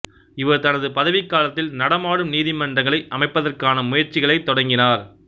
இவர் தனது பதவிக் காலத்தில் நடமாடும் நீதிமன்றங்களை அமைப்பதற்கான முயற்சிகளைத் தொடங்கினார்